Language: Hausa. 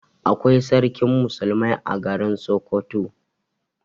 Akwai Sarkin musulmai a garin Sokoto.